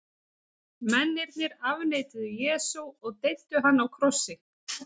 Mennirnir afneituðu Jesú og deyddu hann á krossi.